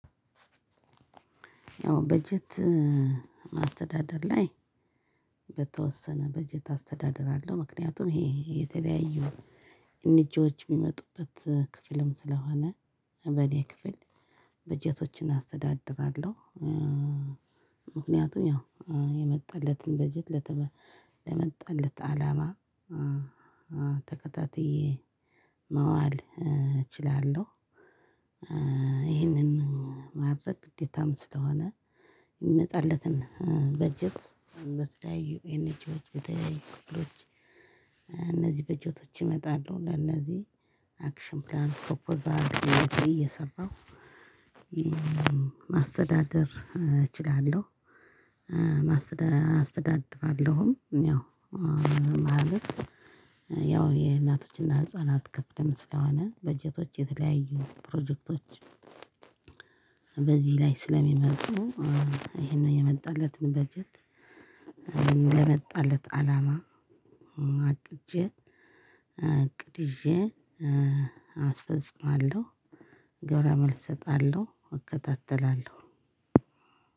ያው በጀት ማስተዳደር ላይ በተወሰነ በጀት አስተዳደር አለው ምክንያቱም ይሄ የተለያዩ ኤንጂዎች የሚመጡበት ክፍልም ስለሆነ በኔ ክፍል በጀቶችን አስተዳድራለሁ። ምክንያቱም ያው የመጣለትን በጀት ለመጣለት አላማ ተከታትዬ ማዋል እችላለሁ። ይህንን ማድረግ ግዴታም ስለሆነ የሚመጣለትን በጀት በተለያዩ ኤንጂዎች በተለያዩ ክፍሎች እነዚህ በጀቶች ይመጣሉ። እና እነዚህ አክሽን ፕላን ፕሮፖዛል እየሰራሁ ማስተዳደር እችላለሁ። ማስተዳ አስተዳድራለሁም። ያው ማለት ያው የእናቶችና ህፃናት ከፍትም ስለሆነ በጀቶች የተለያዩ ፕሮጀክቶች። በዚህ ላይ ስለሚመጡ ይሄንን የመጣለትን በጀት ለመጣለት አላማ አቅጄ እቅድ ይዜ አስፈጽማለሁ ግብረ መልስ እሰጣለሁ። እከታተላለሁ።